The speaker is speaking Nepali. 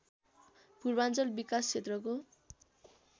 पूर्वाञ्चल विकास क्षेत्रको